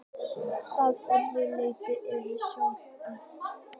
Að öðru leyti eru sömu aðstæður.